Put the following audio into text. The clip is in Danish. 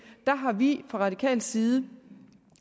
har vi fra radikal side